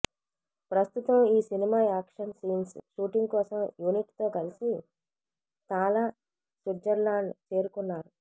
ప్రస్తుతం ఈ cinema action scenes shooting కోసం యూనిట్ తో కలిసి తాలా స్విట్జర్లాండ్ చేరుకున్నారు